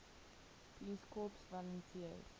peace corps volunteers